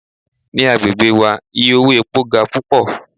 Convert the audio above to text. Ni agbegbe wa iye owo epo ga pupọ